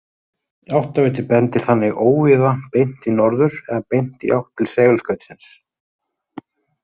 Áttaviti bendir þannig óvíða beint í norður eða beint í átt til segulskautsins.